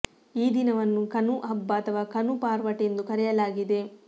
ಈ ದಿನವನ್ನು ಕನು ಹಬ್ಬ ಅಥವಾ ಕನು ಪಾರ್ವಟೆ ಎಂದು ಕರೆಯಲಾಗಿದೆ